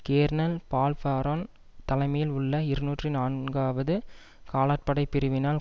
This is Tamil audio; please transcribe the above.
கேர்னல் பால்பரான் தலைமையில் உள்ள இருநூற்றி நான்காவது காலாட்படை பிரிவினரால்